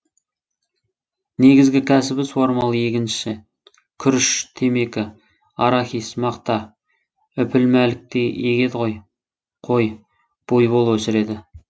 негізгі кәсібі суармалы егінші күріш темекі арахис мақта үпілмәлік егеді қой буйвол өсіреді